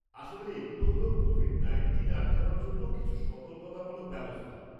আসলে এগুলো হল কোভিড নাইনটিন আটকানোর জন্য কিছু সতর্কতামূলক ব্যবস্থা।